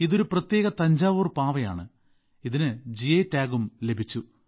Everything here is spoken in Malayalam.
ഇത് ഒരു പ്രത്യേക തഞ്ചാവൂർ പാവയാണ് ഇതിന് ജിഐ ടാഗും ലഭിച്ചു